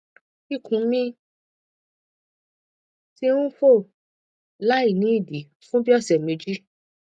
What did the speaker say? ikun mi ti n fo lainidii fun bii ọsẹ meji